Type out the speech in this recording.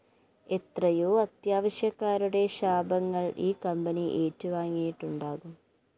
എത്രയോ അത്യാവശ്യക്കാരുടെ ശാപങ്ങള്‍ ഈ കമ്പനി ഏറ്റുവാങ്ങിയിട്ടുണ്ടാകും